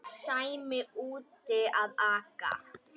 Sæmi úti að aka.